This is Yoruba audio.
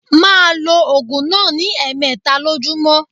Ma lo ògùn náà ní èmeta lójúmó